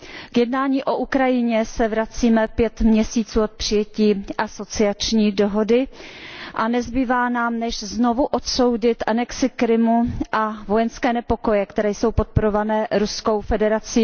K jednání o Ukrajině se vracíme pět měsíců od přijetí asociační dohody a nezbývá nám než znovu odsoudit anexi Krymu a vojenské nepokoje, které jsou podporované Ruskou federací.